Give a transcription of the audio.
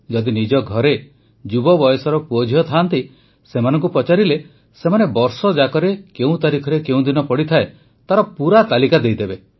ଯଦି ନିଜ ଘରେ ଯୁବ ବୟସର ପୁଅଝିଅ ଥାଆନ୍ତି ସେମାନଙ୍କୁ ପଚାରିଲେ ସେମାନେ ବର୍ଷଯାକରେ କେଉଁ ତାରିଖରେ କେଉଁ ଦିନ ପଡ଼େ ତାର ପୁରା ତାଲିକା ଦେଇଦେବେ